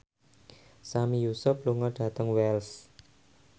Sami Yusuf lunga dhateng Wells